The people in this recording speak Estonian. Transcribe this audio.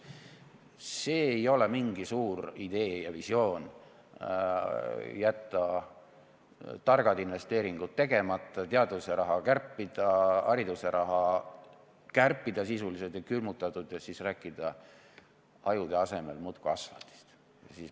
See ei ole mingi suur idee ega visioon, kui jätta targad investeeringud tegemata, teaduse raha kärpida, hariduse raha kärpida, sisuliselt külmutada, aga siis rääkida ajude asemel muudkui asfaldist.